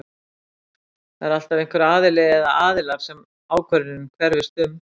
það er alltaf einhver aðili eða aðilar sem ákvörðunin hverfist um